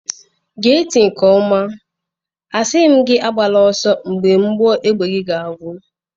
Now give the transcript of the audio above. Gee ntị inke oma, asighi m gị agbala oso mgbe mgbọ égbè gị ga agwụ.